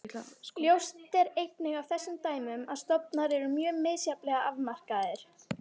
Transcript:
Ljóst er einnig af þessum dæmum að stofnar eru mjög misjafnlega afmarkaðir.